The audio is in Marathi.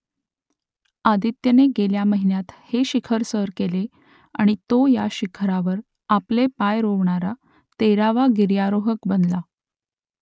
आदित्यने गेल्या महिन्यात हे शिखर सर केले आणि तो या शिखरावर आपले पाय रोवणारा तेरावा गिर्यारोहक बनला